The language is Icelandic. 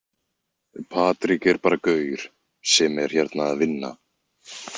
Patrik er bara gaur sem er hérna að vinna.